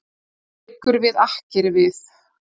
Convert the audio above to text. Liggur við akkeri við